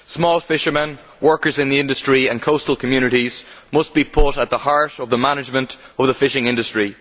Small fishermen, workers in the industry and coastal communities must be put at the heart of the management of the fishing industry.